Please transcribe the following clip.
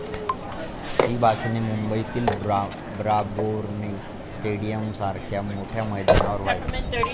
ही भाषणे मुंबईतील ब्राबौरणे स्टेडीयमसारख्या मोठ्या मैदानावर व्हायची.